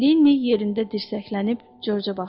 Lenni yerində dirsəklənib Corca baxdı.